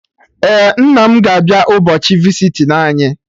Ee, nna m ga abịa ụbọchị visiting anyị